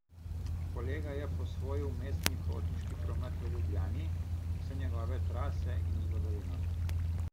Kolega je posvojil mestni potniški promet v Ljubljani, vse njegove trase in zgodovino.